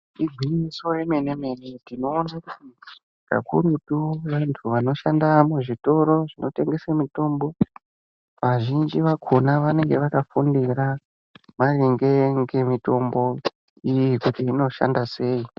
Igwinyiso yemene-mene, tinoona kakurutu, vantu vanoshanda muzvitoro zvinotengese mitombo, vazhinji vakhona vanenge vakafundira, maringe ngemitombo iyi, kuti inoshanda sei.